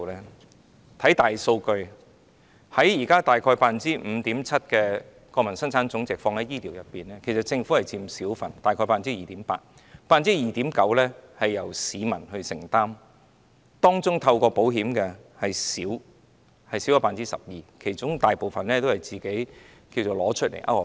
看看大數據，現時大約 5.7% 的本地生產總值投放在醫療方面，政府只佔小部分，大約 2.8%，2.9% 是由市民承擔，當中透過保險的少於 12%， 其餘大部分都是自行支付的。